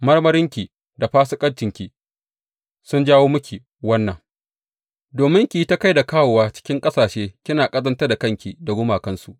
Marmarinki da fasikancinki sun jawo miki wannan, domin ki yi ta kai da kawowa cikin ƙasashe kina ƙazantar da kanki da gumakansu.